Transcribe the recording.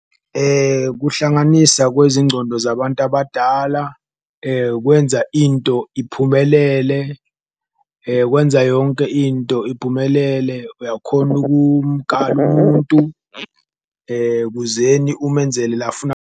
Kuhlanganisa kwezingcono zabantu abadala kwenza into iphumelele, kwenza yonke into iphumelele, uyakhona umuntu kuzeni umenzele la .